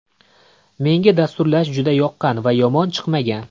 Menga dasturlash juda yoqqan va yomon chiqmagan.